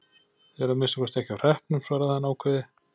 Þið eruð að minnsta kosti ekki á hreppnum, svaraði hann ákveðið.